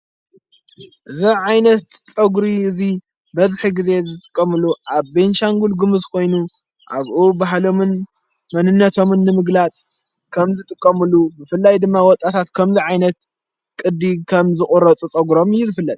እዝ ዓይነት ፆጕሪ እዙይ በዝኪ ጊዜ ዘጥቆምሉ ኣብ ቤንሻንጕል ግምዝ ኮይኑ ኣብኡ ባሃሎምን መንነቶምን ምግላጽ ከም ዝጥቀምሉ ብፍላይ ድማ ወጣታት ከምዝ ዓይነት ቕዲ ከም ዝቑረፁ ጸጕሮም ይዝፍለን።